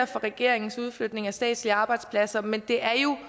for regeringens udflytning af statslige arbejdspladser men det er jo